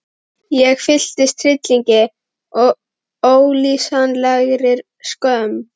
Ég fylltist hryllingi og ólýsanlegri skömm.